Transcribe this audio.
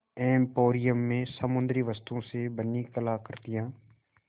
emporium में समुद्री वस्तुओं से बनी कलाकृतियाँ